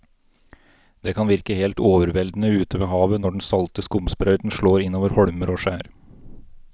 Det kan virke helt overveldende ute ved havet når den salte skumsprøyten slår innover holmer og skjær.